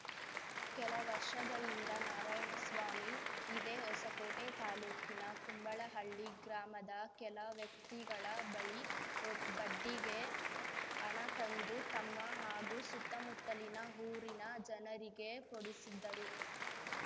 ಕೆಲ ವರ್ಷಗಳಿಂದ ನಾರಾಯಣಸ್ವಾಮಿ ಇದೇ ಹೊಸಕೋಟೆ ತಾಲೂಕಿನ ಕುಂಬಳಹಳ್ಳಿ ಗ್ರಾಮದ ಕೆಲ ವ್ಯಕ್ತಿಗಳ ಬಳಿ ವೊ ಬಡ್ಡಿಗೆ ಹಣ ತಂದು ತಮ್ಮ ಹಾಗೂ ಸುತ್ತಮುತ್ತಲಿನ ಊರಿನ ಜನರಿಗೆ ಕೊಡಿಸಿದ್ದರು